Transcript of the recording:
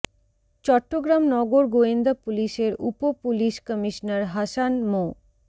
চট্টগ্রাম নগর গোয়েন্দা পুলিশের উপ পুলিশ কমিশনার হাসান মো